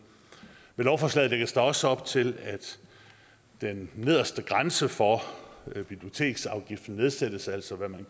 med lovforslaget lægges der også op til at den nederste grænse for biblioteksafgiften nedsættes altså hvad man